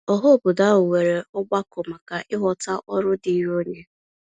Ọhaobodo ahụ nwere ọgbakọ maka ịghọta ọrụ diiri onye.